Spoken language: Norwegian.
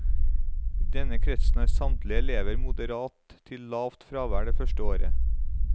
I denne kretsen har samtlige elever moderat til lavt fravær det første året.